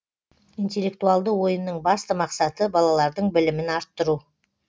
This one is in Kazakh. интеллектуалды ойынның басты мақсаты балалардың білімін арттыру